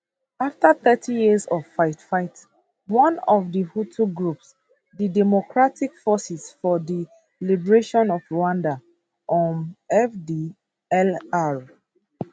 afta thirty years of fightfight one of di hutu groups di democratic forces for di liberation of rwanda um fdlr